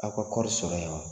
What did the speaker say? Aw ka kɔɔri sɔrɔ yan